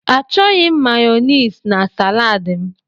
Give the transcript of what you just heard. Achọghị m Mayonezi na salad m.